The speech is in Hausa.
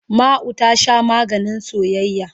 Ma'u ta Sha maganin soyayya.